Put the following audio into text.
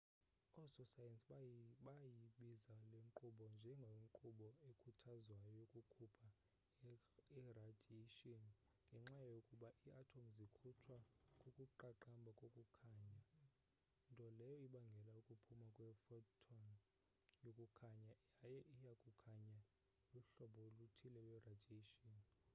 oososayensi bayibiza le nkqubo njengenkqubo ekhuthazwayo yokukhupha iradiyeyshini ngenxa yokuba ii-atomu zikhutshwa kukuqaqamba kokukhanya nto leyo ebangela ukuphuma kwe-photon yokukhanye yaye ukukhanya luhlobo oluthile lweradiyeyshini